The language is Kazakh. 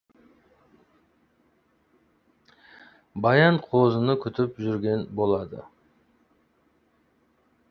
баян қозыны күтіп жүрген болады